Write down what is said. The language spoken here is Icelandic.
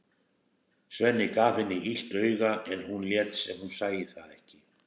Sveinn gaf henni illt auga en hún lét sem hún sæi það ekki.